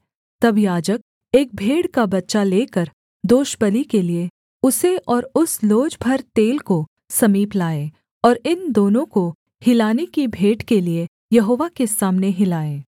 तब याजक एक भेड़ का बच्चा लेकर दोषबलि के लिये उसे और उस लोज भर तेल को समीप लाए और इन दोनों को हिलाने की भेंट के लिये यहोवा के सामने हिलाए